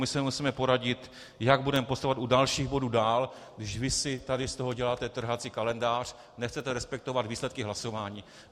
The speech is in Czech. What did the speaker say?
My se musíme poradit, jak budeme postupovat u dalších bodů dál, když vy si tady z toho děláte trhací kalendář, nechcete respektovat výsledky hlasování.